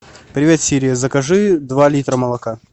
привет сири закажи два литра молока